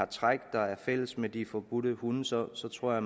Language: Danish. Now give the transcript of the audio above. træk der er fælles med de forbudte hunde så så tror jeg